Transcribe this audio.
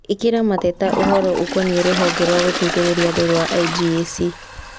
ĩkĩra mateta ũhoro ũkoniĩ rũhonge rwa gũteithĩrĩria andũ rwa i.g.a.c.